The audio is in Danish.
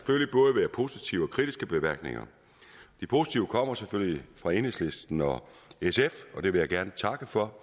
positive og kritiske bemærkninger de positive kommer selvfølgelig fra enhedslisten og sf og det vil jeg gerne takke for